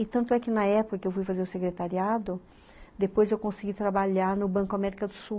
E tanto é que na época que eu fui fazer o secretariado, depois eu consegui trabalhar no Banco América do Sul.